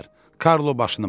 Karlo başını buladı.